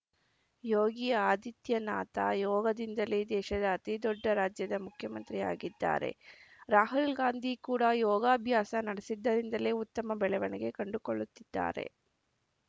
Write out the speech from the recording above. ಯೋಗಿ ಆದಿತ್ಯನಾಥ ಯೋಗದಿಂದಲೇ ದೇಶದ ಅತಿ ದೊಡ್ಡ ರಾಜ್ಯದ ಮುಖ್ಯಮಂತ್ರಿಯಾಗಿದ್ದಾರೆ ರಾಹುಲ್‌ ಗಾಂಧಿ ಕೂಡ ಯೋಗಾಭ್ಯಾಸ ನಡೆಸಿದ್ದರಿಂದಲೇ ಉತ್ತಮ ಬೆಳವಣಿಗೆ ಕಂಡುಕೊಳ್ಳುತ್ತಿದ್ದಾರೆ